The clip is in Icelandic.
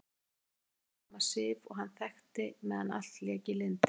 Hún er nákvæmlega sama Sif og hann þekkti meðan allt lék í lyndi.